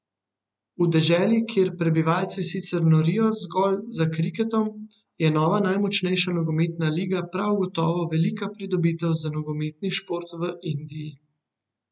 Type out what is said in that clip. V deželi, kjer prebivalci sicer norijo zgolj za kriketom, je nova najmočnejša nogometna liga prav gotovo velika pridobitev za nogometni šport v Indiji.